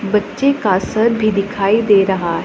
बच्चे का सर भी दिखाई दे रहा--